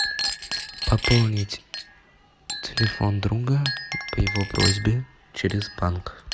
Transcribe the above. пополнить телефон друга по его просьбе через банк